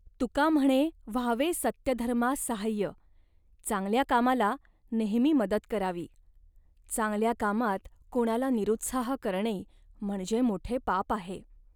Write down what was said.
तुका म्हणे व्हावे सत्यधर्मा साह्य' चांगल्या कामाला नेहमी मदत करावी. चांगल्या कामात कोणाला निरुत्साह करणे म्हणजे मोठे पाप आहे